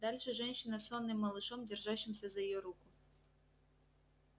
дальше женщина с сонным малышом держащимся за её руку